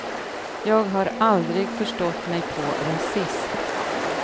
Jag har aldrig förstått mig på rasism.